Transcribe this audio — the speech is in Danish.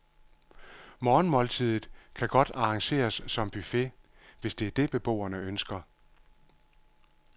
Morgenmåltidet kan godt arrangeres som buffet, hvis det er det, beboerne ønsker.